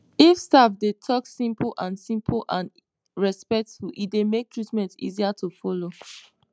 if staff dey talk simple and simple and respectful e dey make treatment easier to follow